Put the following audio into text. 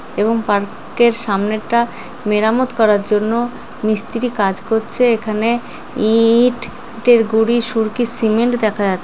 এবং পার্ক এর সামনেরটা মেরামত করার জন্য মিস্ত্রি কাজ করছে এখানে ই-ই-ট ইটের গুড়ি সুরকি সিমেন্ট দেখা যাচ--